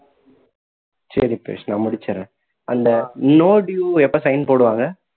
சரி பவிஷ் நான் முடிச்சிடுறேன் அந்த no due எப்போ sign போடுவாங்க